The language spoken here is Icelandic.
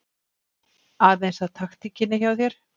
Aðeins að taktíkinni hjá þér.